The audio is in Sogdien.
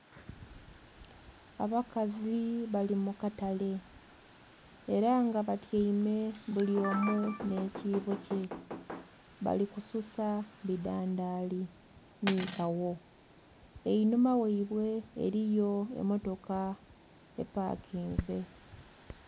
Abakazi bali mu katale era nga batyaime bulyomu nhe kibbo kye, bali kususa bidandhali nhi kaawo einhuma ghaibwe eriyo emotoka epakinzi.